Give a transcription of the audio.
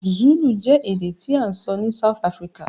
Zulu je èdè ti a n sọ ni South Africa